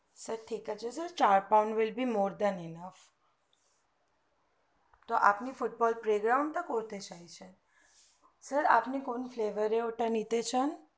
ঠিক আছে sir চার proud willbe more than me ok তো আপনে football playground টা করতে চাইছেন sir আপনি কোন flavor এ ওটা নিতে চান